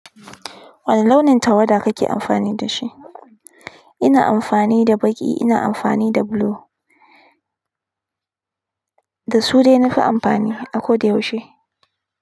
Wani launin tawada kake amfani da shi? Ina amfani da baƙi, ina amfani da blue. Da su dai na fi amfani a ko da yaushe.